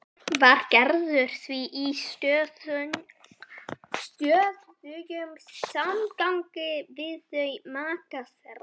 Var Gerður því í stöðugum samgangi við þau, maka þeirra